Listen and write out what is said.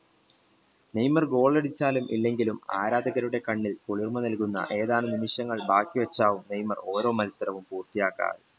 Neymar goal അടിച്ചാലും ഇല്ലെങ്കിലും ആരാധകരുടെ കണ്ണിൽ നൽകുന്ന ഏതാണ് നിമിഷങ്ങൾ ബാക്കി വെച്ചാണ് നെയ്മർ ഓരോ മത്സരങ്ങളും പൂർത്തിയാക്കുക